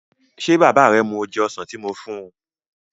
Ṣé bàbá rẹ mu oje ọsàn tí moo fún un?